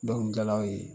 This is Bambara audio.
Dɔnkili jalaw ye